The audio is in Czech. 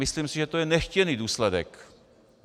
Myslím si, že to je nechtěný důsledek.